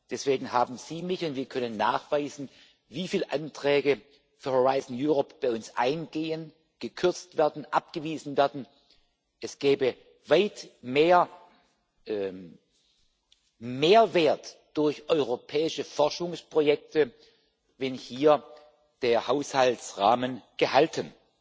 Deswegen haben Sie mich und wir können nachweisen, wie viel Anträge für Horizont Europa bei uns eingehen, gekürzt werden, abgewiesen werden auf Ihrer Seite. Es gäbe weit mehr Mehrwert durch europäische Forschungsprojekte, wenn hier der Haushaltsrahmen gehalten